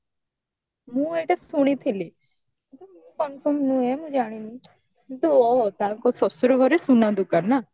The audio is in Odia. ମୁଁ ଏଇଟା ଶୁଣିଥିଲି କିନ୍ତୁ confirm ନୁହେଁ ମୁଁ ଜାଣିନି ଓଃହୋ ତାଙ୍କ ଶଶୁର ଘରେ ସୁନା ଦୋକାନ ନା